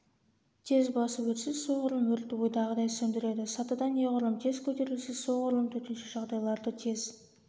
тез басып өтсе соғұрлым өртті ойдағыдай сөндіреді сатыдан неғұрлым тез көтерілсе соғұрлым төтенше жағдайларды тез